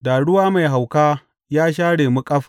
Da ruwa mai hauka ya share mu ƙaf.